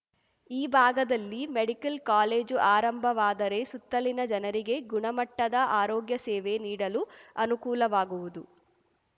ಈ ಭಾಗದಲ್ಲಿ medical college ಆರಂಭವಾದರೆ ಸುತ್ತಲಿನ ಜನರಿಗೆ ಗುಣಮಟ್ಟದ ಆರೋಗ್ಯ ಸೇವೆ ನೀಡಲು ಅನುಕೂಲವಾಗುವುದು